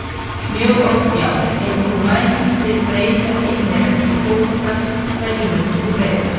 mjög oft já Ef þú mættir breyta einni reglu í fótbolta, hverju myndir þú breyta?